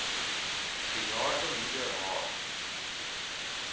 bejaarde moeder haar